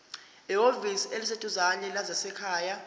ehhovisi eliseduzane lezasekhaya